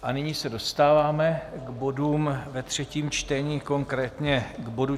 A nyní se dostáváme k bodům ve třetím čtení, konkrétně k bodu